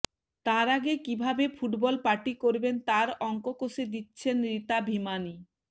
তার আগে কী ভাবে ফুটবল পার্টি করবেন তার অঙ্ক কষে দিচ্ছেন ঋতা ভিমানি